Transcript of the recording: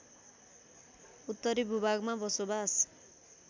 उत्तरी भूभागमा बसोवास